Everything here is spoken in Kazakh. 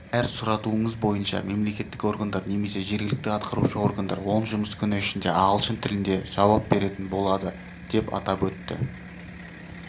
әр сұратуыңыз бойынша мемлекеттік органдар немесе жергілікті атқарушы органдар он жұмыс күні ішінде ағылшын тілінде жауап беретін болады деп атап өтті